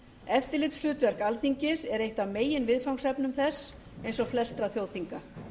eftirlitshlutverk alþingis er eitt af meginviðfangsefnum þess eins og flestra þjóðþinga